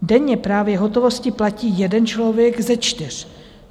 Denně právě hotovostí platí jeden člověk ze čtyř.